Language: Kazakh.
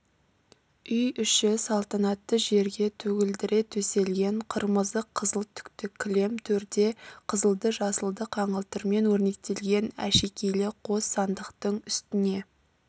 үй іші салтанатты жерге төгілдіре төселген қырмызы қызыл түкті кілем төрде қызылды-жасылды қаңылтырмен өрнектелген әшекейлі қос сандықтың үстіне